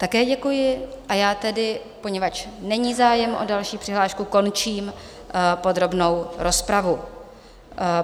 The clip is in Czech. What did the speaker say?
Také děkuji, a já tedy, poněvadž není zájem o další přihlášku, končím podrobnou rozpravu.